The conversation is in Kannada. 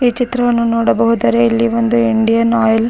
ಈ ಚಿತ್ರವನ್ನು ನೊಡಬಹುದರೆ ಇಲ್ಲಿ ಒಂದು ಇಂಡಿಯನ್ ಆಯಿಲ್ --